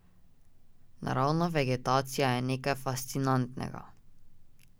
Naravna vegetacija je nekaj fascinantnega.